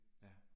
Ja